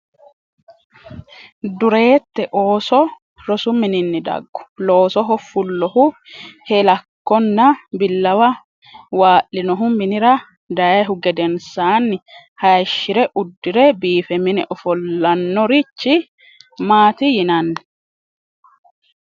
Dureette! ooso rosu mininni daggu? Loosoho fullohu heellakkonna billawa waa’linohu minira dayhu gedensaanni hayishshi’re uddi’re biife mine ofollannorichi mati yinani?